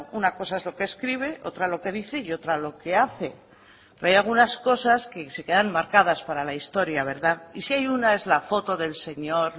una cosa es lo que escribe otra lo que dice y otra lo que hace pero hay algunas cosas que se quedan marcadas para la historia verdad y si hay una es la foto del señor